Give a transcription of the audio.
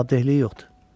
Cavabdehliyi yoxdur.